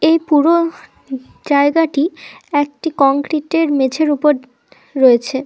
এই পুরো জায়গাটি একটি কংক্রিটের মেঝের উপর রয়েছে।